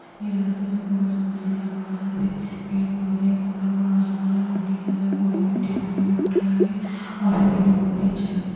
ये रास्ता जो पूरा शुनशान है यहां पेड़-पौधे वो खुला हुआ आसमान है और नीचे जो है पूरी मिटटी भरी हुई है रोड के आगे और ये देखने में बहुत अच्छा है।